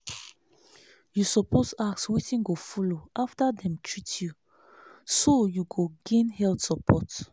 you suppose ask wetin go follow after dem treat you so you go gain health support.